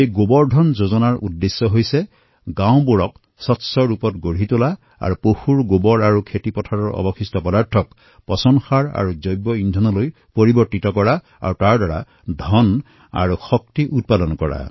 এই গোবৰ ধন যোজনাৰ উদ্দেশ্য হল গাঁৱত স্বচ্ছতা নিৰ্মাণ কৰা আৰু পশুৰ গোবৰ তথা খেতিৰ অৱশিষ্ট পদাৰ্থসমূহ পচন কৰি বায়গেছলৈ ৰূপান্তৰ কৰা তাৰ পৰা ধন আৰু শক্তি উৎপন্ন কৰা